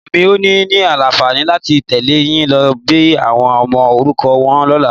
Èmi ò ní ní àǹfààní láti tẹ̀lé yín lọ bẹ àwọn ọmọ òrukàn wo lọ́la.